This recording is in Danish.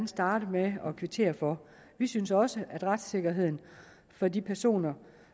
starte med at kvittere for vi synes også at retssikkerheden for de personer